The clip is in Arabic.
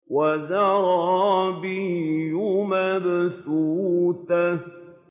وَزَرَابِيُّ مَبْثُوثَةٌ